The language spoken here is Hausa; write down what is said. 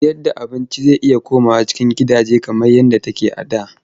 Sayarda abinci zai iya komawa cikin gidaje kamar yadda take a da.